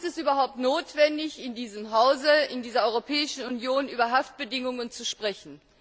Warum ist es überhaupt notwendig, in diesem Hause, in dieser Europäischen Union über Haftbedingungen zu sprechen?